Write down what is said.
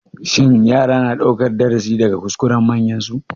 Shin yara na ɗaukan darasi daga kuskuren manyansu?